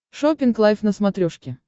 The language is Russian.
шоппинг лайф на смотрешке